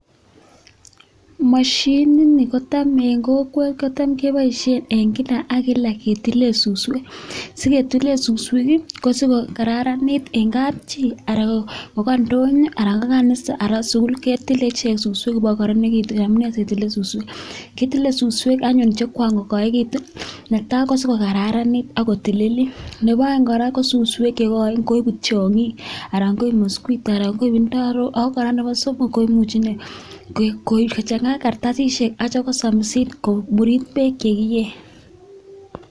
Mashinini kotam eng kokwet kotam keboishe eng kila ak kila[ ketile suswek si ketile suswek kosiko kararanit eng kapchi ana ko ka indonyo anan ko kanisa anan skull ketile suswek ipko kararanitu. Amu nee siketile suswek? Kitile suswek anyun che kwakokaekitu, netai si kokararanit ak ko tililit, nebo aeng kora suswek che koen koibu tiongik anan koib mosquito anan koib indarok ako kora nebo somok koimuchi nee kochanga kartasishek akya kosamisit komurit beek che kiei.